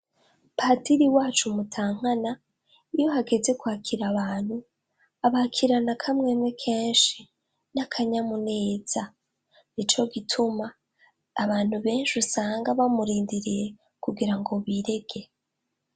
Padiri wacu Mutankana iyo hageze kwakira abantu, abakirana akamwemwe kenshi, n'akanyamuneza. Nico gituma abantu benshi usanga bamurindiriye kugira ngo birege.